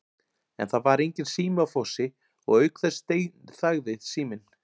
En það var enginn sími á Fossi og auk þess steinþagði síminn.